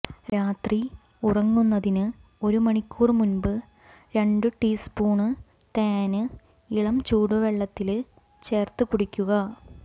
രാത്രി ഉറങ്ങുന്നതിന് ഒരു മണിക്കൂർ മുന്പ് രണ്ട് ടീസ്പൂണ് തേന് ഇളംചൂടുവെള്ളത്തില് ചേര്ത്തു കുടിക്കുക